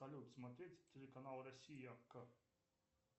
салют смотреть телеканал россия к